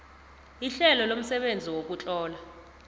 ihlelo lomsebenzi wokutlola